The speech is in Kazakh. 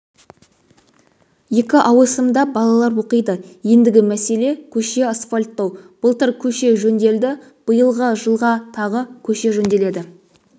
екі ауысымда балалар оқиды ендігі мәселе көше асфальттау былтыр көше жөнделді биылғы жылға тағы көше жөнделеді